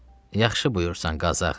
Yaxşı buyursan, Qazı ağa.